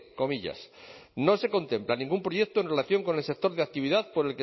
comillas no se contempla ningún proyecto en relación con el sector de actividad por